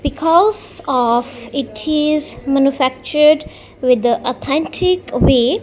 because of it is manufactured with the authentic way.